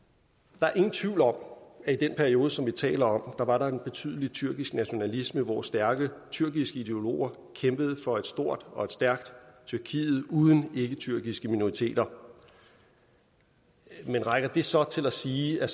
der er ingen tvivl om at i den periode som vi taler om var der en betydelig tyrkisk nationalisme hvor stærke tyrkiske ideologer kæmpede for et stort og stærkt tyrkiet uden ikketyrkiske minoriteter men rækker det så til at sige at